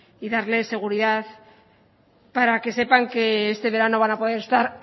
y darles seguridad para que sepan que este verano van a poder estar